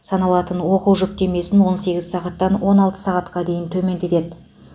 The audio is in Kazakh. саналатын оқу жүктемесін он сегіз сағаттан он алты сағатқа дейін төмендетеді